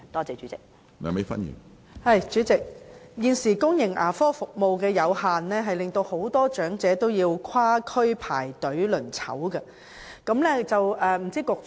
主席，現時公營牙科服務有限，很多長者都需要跨區排隊候診。